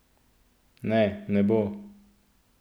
Ne, ne bo!